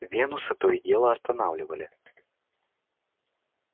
венуса то и дело останавливали